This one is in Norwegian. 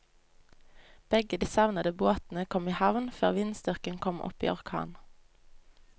Begge de savnede båtene kom i havn før vindstyrken kom opp i orkan.